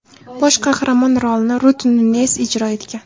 Bosh qahramon rolini Rut Nunez ijro etgan.